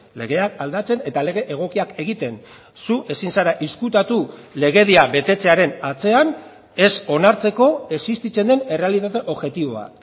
legeak aldatzen eta lege egokiak egiten zu ezin zara ezkutatu legedia betetzearen atzean ez onartzeko existitzen den errealitate objektiboa